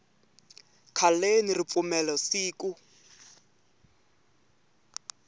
khaleni ripfumelo siku